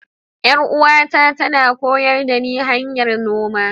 Yar'uwata tana koyar dani hanyar noma.